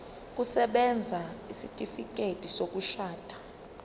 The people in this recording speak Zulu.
kusebenza isitifikedi sokushona